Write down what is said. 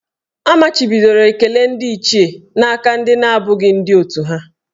A machibidoro ekele ndị Ichie n'aka ndị na-abụghị ndị òtù ha